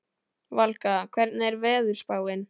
Valka, hvernig er veðurspáin?